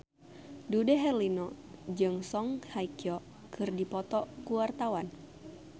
Dude Herlino jeung Song Hye Kyo keur dipoto ku wartawan